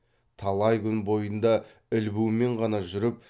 талай күн бойында ілбумен ғана жүріп